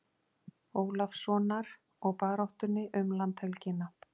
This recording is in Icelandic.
Ólafssonar og baráttunni um landhelgina.